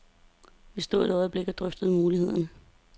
Vi stod et øjeblik og drøftede mulighederne.